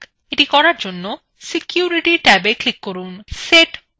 to করার জন্য security ট্যাবে click করুন